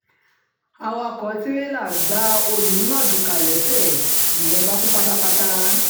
awakọ̀ tìrẹlà gba oní-mardukà lẹ́sẹ̀ẹ́ nìyẹn bá kú pátápátá